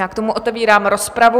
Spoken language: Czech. Já k tomu otevírám rozpravu.